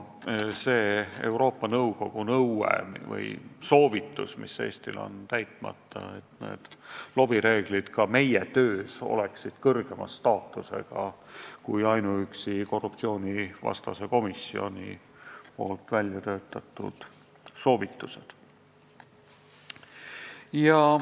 See Euroopa Nõukogu soovitus on Eestil täitmata – lobireeglid peaksid ka meie töös olema kõrgema staatusega kui ainuüksi korruptsioonivastase komisjoni väljatöötatud soovitused.